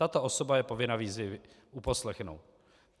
Tato osoba je povinna výzvy uposlechnout."